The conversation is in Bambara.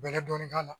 Bɛlɛ dɔɔnin k'a la